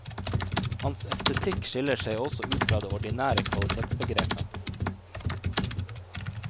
Hans estetikk skiller seg også ut fra det ordinære kvalitetsbegrepet.